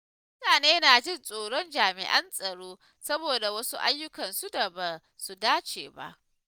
Mutane na jin tsoron jami'an tsaro saboda wasu ayyukansu da ba su dace ba.